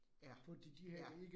Ja, ja